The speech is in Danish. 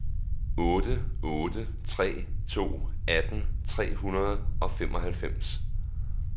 otte otte tre to atten tre hundrede og femoghalvfems